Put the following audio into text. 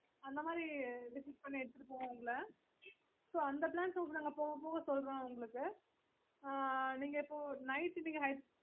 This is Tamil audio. okayokayokay mam cash